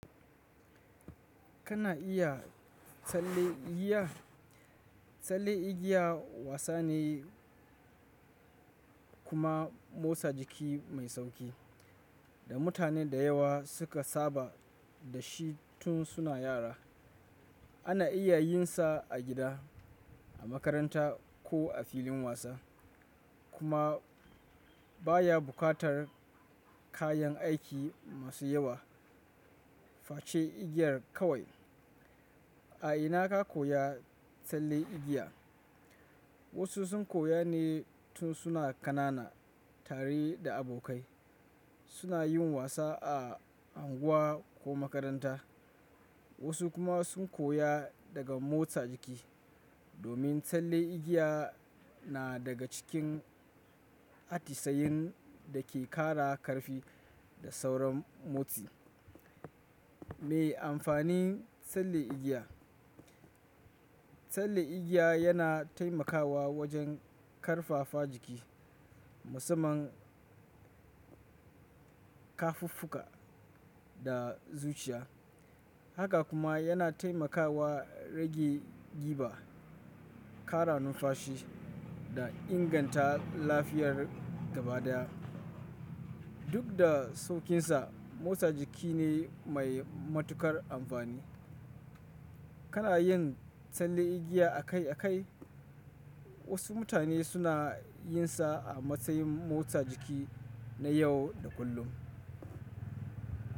Kana iya tsalle igiya? Tsalle igiya wasa ne kuma motsa jiki mai sauƙi da mutane da yawa suka saba da shi tun suna yara. Ana iya yin sa a gida, a makaranta ko a filin wasa kuma baya buƙatar kayan aiki masu yawa. Fa ce igiyar kawai. A ina ka koya tsalle igiya? Wasu sun koya ne tun suna ƙanana tare da abokai suna yin wasa a unguwa ko makaranta, wasu kuma sun koya daga motsa jiki. Domin tsalle igiya na daga cikin atisayin da ke ƙara ƙarfi da sauran motsi. Me amfanin tsalle igiya? Tsalle igiya yana taimakawa wajen ƙarfafa jiki, musamman kafuffuka da zuciya. Haka kuma yana taimakawa rage ƙiba, ƙara numfashi da inganta lafiyar gaba daya. Duk da sauƙinsa, motsa jiki ne mai matuƙar amfani. Kana yin tsalle igiya akai akai? Wasu mutane suna yin sa a matsayin motsa jiki na yau da kullum.